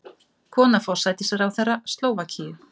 Kona forsætisráðherra Slóvakíu